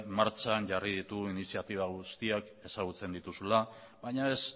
martxan jarri ditugun iniziatiba guztiak ezagutzen dituzula baina ez